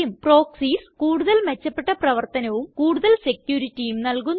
proxies കൂടുതൽ മെച്ചപ്പെട്ട പ്രവർത്തനവും കൂടുതൽ securityയും നല്കുന്നു